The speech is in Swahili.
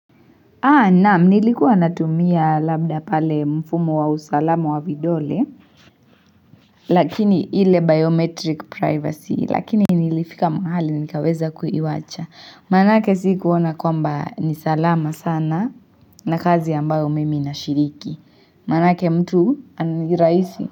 Naam nilikuwa natumia labda pale mfumo wa usalamu wa vidole Lakini ile biometric privacy lakini nilifika mahali nikaweza kuiwacha Maanake sikuona kwamba ni salama sana na kazi ambayo mimi na shiriki Maanake mtu ni rahisi.